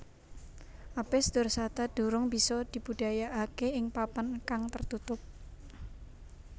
Apis dorsata durung bisa dibudidayakake ing papan kang tertutup